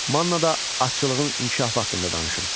Mannada atçılığın inkişafı haqqında danışın.